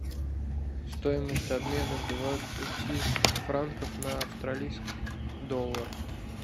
стоимость обмена двадцати франков на австралийский доллар